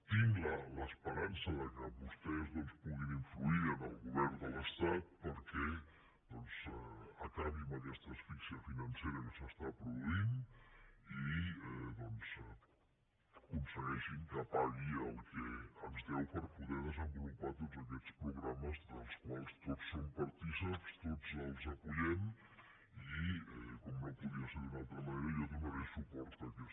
tinc l’esperança que vostès doncs puguin influir en el govern de l’estat perquè acabi amb aquesta asfíxia financera que s’està produint i aconsegueixin que pagui el que ens deu per poder desenvolupar tots aquests programes dels quals tots som partícips tots els donem suport i com no podia ser d’una altra manera jo donaré suport a aquesta moció